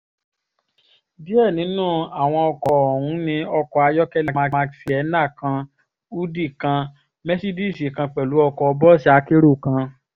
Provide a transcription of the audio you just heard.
díẹ̀ nínú àwọn ọkọ̀ ọ̀hún ní ọkọ̀ ayọ́kẹ́lẹ́ mark sienna kan húdíì kan mẹ́sídíìsì kan pẹ̀lú ọkọ̀ bọ́ọ̀sì akérò kan